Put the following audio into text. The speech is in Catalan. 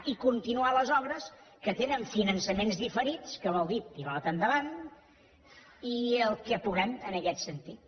i continuar les obres que tenen finançaments diferits que vol dir pilota endavant i el que puguem en aquest sentit